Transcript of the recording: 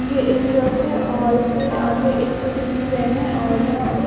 ये एक ट्रक है और इसके आगे एक छोटी सी क्रेन है और यहां पे--